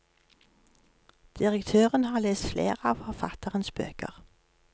Direktøren har lest flere av forfatterens bøker.